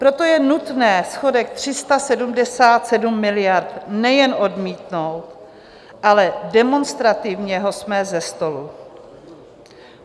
Proto je nutné schodek 377 miliard nejen odmítnout, ale demonstrativně ho smést ze stolu.